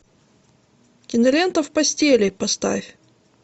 кинолента в постели поставь